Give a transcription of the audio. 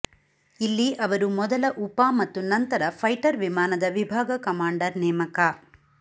ಇಲ್ಲಿ ಅವರು ಮೊದಲ ಉಪ ಮತ್ತು ನಂತರ ಫೈಟರ್ ವಿಮಾನದ ವಿಭಾಗ ಕಮಾಂಡರ್ ನೇಮಕ